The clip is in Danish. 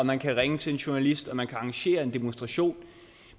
man kan ringe til en journalist og man kan arrangere en demonstration